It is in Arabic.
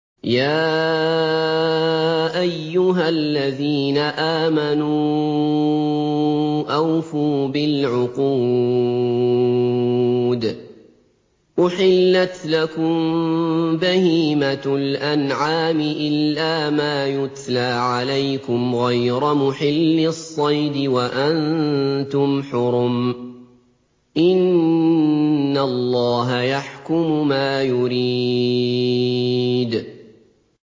يَا أَيُّهَا الَّذِينَ آمَنُوا أَوْفُوا بِالْعُقُودِ ۚ أُحِلَّتْ لَكُم بَهِيمَةُ الْأَنْعَامِ إِلَّا مَا يُتْلَىٰ عَلَيْكُمْ غَيْرَ مُحِلِّي الصَّيْدِ وَأَنتُمْ حُرُمٌ ۗ إِنَّ اللَّهَ يَحْكُمُ مَا يُرِيدُ